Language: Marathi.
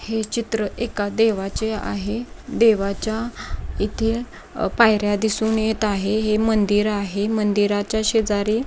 हे चित्र एका देवाचे आहे. देवाच्या इथे पायर्‍या दिसून येत आहे. हे मंदिर आहे. मंदिराच्या शेजारी--